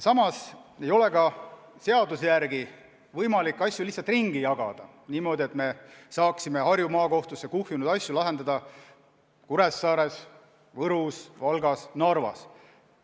Samas ei ole seaduse järgi võimalik asju lihtsalt ringi jagada niimoodi, et me saaksime Harju Maakohtusse kuhjunud asju lahendada ka Kuressaares, Võrus, Valgas või Narvas.